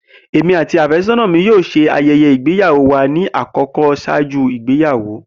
Emi ati afesona mi yoo ṣe ayẹyẹ igbeyawo wa ni akọkọ ṣaaju igbeyawo.